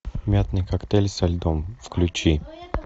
мятный коктейль со льдом включи